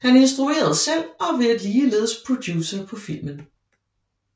Han instruerede selv og var ligeledes producer på filmen